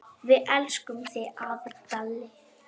Við elskum þig, afi Dalli.